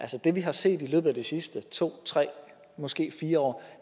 det vi har set i løbet af de sidste to tre måske fire år